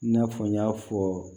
I n'a fɔ n y'a fɔ